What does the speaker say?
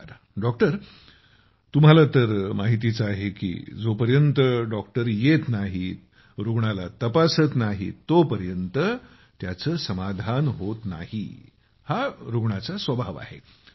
बरं मदनमणि जीतुम्हाला तर माहिती आहेच की जोपर्यंत डॉक्टर येत नाही रुग्णाला तपासात नाहीत तोपर्यंत त्याचे समाधान होत नाही हा रुग्णाचा स्वभाव आहे